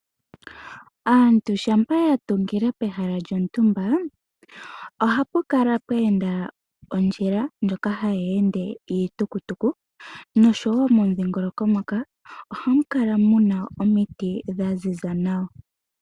Aantu shampa ya tungila pehala lyontumba ohapu kala pwe enda ondjila ndjoka hayi ende iitukutuku nosho woo momudhingoloko moka ohamu kala mu na omiti dha ziza nawa.